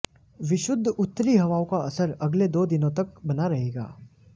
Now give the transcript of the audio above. विशुद्ध उत्तरी हवाओं का असर अगले दो दिनों तक बना रहेगा